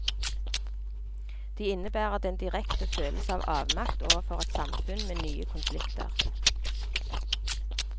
De innebærer den direkte følelse av avmakt overfor et samfunn med nye konflikter.